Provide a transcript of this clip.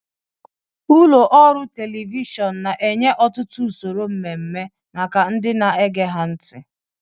Ụlọ ọrụ telivishọn na-enye ọtụtụ usoro mmemme maka ndị na-ege ha ntị.